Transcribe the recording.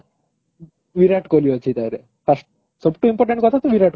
ବିରାଟ କୋହଲି ଅଛି ତାରେ first ସବୁଠୁ important କଥା ତ ବିରାଟ କୋହଲି ଅଛି